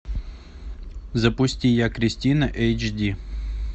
запусти я кристина эйч ди